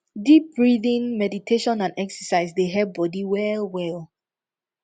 deep breathing meditation and exercise dey help body well well